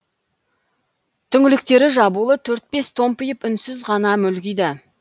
түңліктері жабулы төрт бес үй томпиып үнсіз ғана мүлгиді